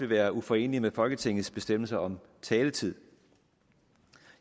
været uforeneligt med folketingets bestemmelser om taletider